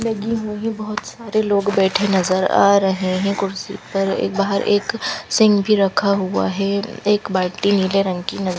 लगी हुई है बहुत सारे लोग बैठे नज़र आ रहे हैं कुर्सी पर एक बाहर एक सींग भी रखा हुआ है एक बाल्टी नीले रंग की न --